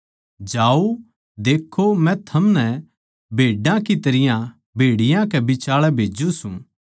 जाओ देक्खों मै थमनै भेड्डां की तरियां भेड़ियाँ के बिचाल्ये भेज्जू सूं